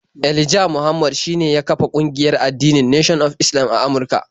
Elijah Muhammad shine ya kafar kungiyar addinin Nation of Islam a Amurka.